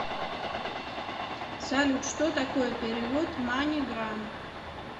салют что такое перевод маниграм